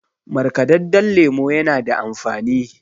markadadden lemo yana da amfani